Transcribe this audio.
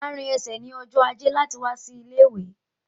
Máa rìn ẹsẹ̀ ní ọjọ ajé láti wá sí ilé-ìwé